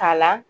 K'a la